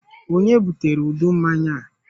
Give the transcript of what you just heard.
Ònye butere udu mmanya a?